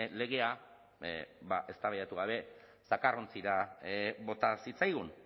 legea ba eztabaidatu gabe zakarrontzira bota zitzaigun